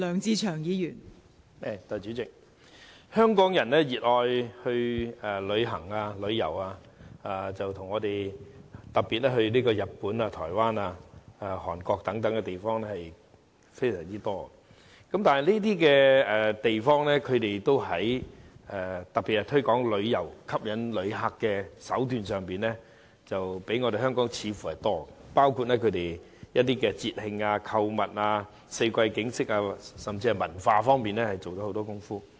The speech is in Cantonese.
代理主席，香港人熱愛旅遊，其中以日本、台灣、韓國等地方最受歡迎，而這些地方在推廣旅遊業和吸引旅客方面所採用的手段，似乎比香港多，包括推廣節慶、購物及四季景色，而在文化推廣方面亦花了不少工夫。